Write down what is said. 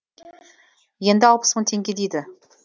енді алпыс мың теңге дейді